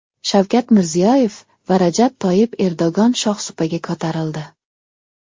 Shavkat Mirziyoyev va Rajab Toyyib Erdo‘g‘on shohsupaga ko‘tarildi.